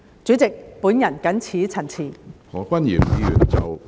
主席，我謹此陳辭。